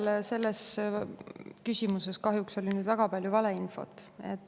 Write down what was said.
No selles küsimuses kahjuks oli väga palju valeinfot.